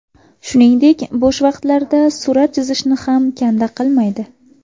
Shuningdek, bo‘sh vaqtlarida surat chizishni ham kanda qilmaydi.